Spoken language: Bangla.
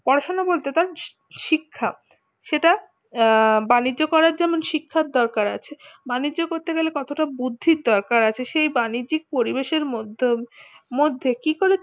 পড়াশোনা বলতে গেলে শিক্ষা সেটা আহ বাণিজ্য করার জন্য শিক্ষার দরকার আছে বাণিজ্য করতে গেলে কত টা বুদ্ধির দরকার আছে সেই বাণিজ্যিক পরিবেশের মধ্যে মধ্যে কি করে